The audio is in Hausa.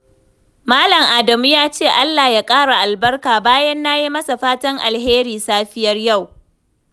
Malam Adamu ya ce, "Allah ya ƙara albarka" bayan na yi masa fatan alheri safiyar yau.